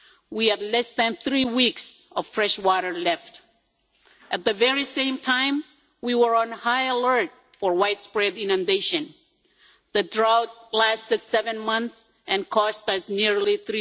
We had less than three weeks of fresh water left. At the very same time we were on high alert for widespread inundation. The drought lasted seven months and cost us nearly EUR